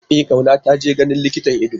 E Kauna taje ganin likitan ido.